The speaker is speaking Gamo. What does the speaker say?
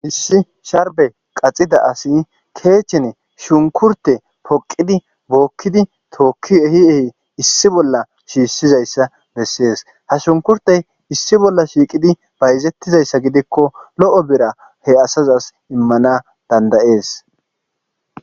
issi sharbe qaxida asi keechchene shunkurte poqidi bookkidi tookki ehi ehi issi bolla shiishizayssa bessees ha shunkurtey issi bolla shiiqidi bayzettizayssa gidikko lo7o bera he asazas immana dandayees